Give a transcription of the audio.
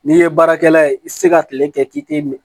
N'i ye baarakɛla ye i tɛ se ka tile kɛ k'i tɛ